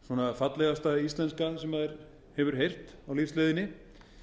fallegasta íslenska sem maður hefur heyrt á lífsleiðinni